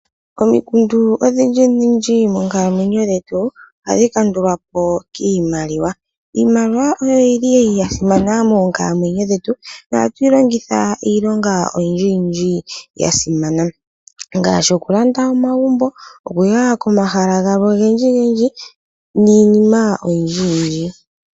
Omikundu odhindji moonkalamwenyo dhetu ohadhi kandulwapo kiimaliwa. Iimaliwa oyili yasimana moonkalamwenyo dhetu nohatuyi longitha iilonga oyindji yasimana ngaashi okulanda omagumbo niinima ,okuya komahala galwe ogendji niinima oyindji .